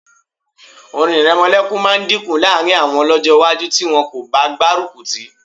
Orin ìrẹmọlẹ́kun máa dínkù láàrín àwọn lọ́jọ́ iwájú tí wọn kò bá gbárùkù tì í